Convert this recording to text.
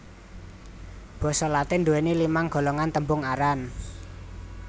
Basa Latin nduwèni limang golongan tembung aran